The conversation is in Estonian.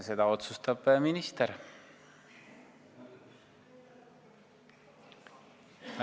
Seda otsustab minister.